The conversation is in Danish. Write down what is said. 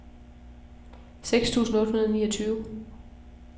seks tusind otte hundrede og niogtyve